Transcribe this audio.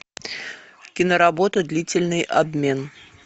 киноработа длительный обмен